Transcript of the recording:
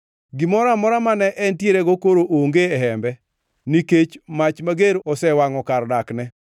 Gimoro amora mane entierego koro onge e hembe; nikech mach mager osewangʼo kar dakne.